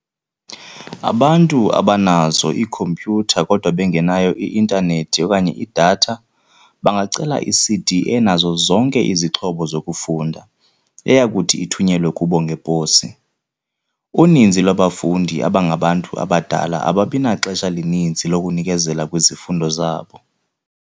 Abantu abanazo iikhompyutha kodwa bengenayo i-intanethi okanye i-data, bangacela i-CD enazo zonke izixhobo zokufunda, eyakuthi ithunyelwe kubo ngeposi. "Uninzi lwabafundi abangabantu abadala ababi naxesha lininzi lokunikezela kwizifundo zabo."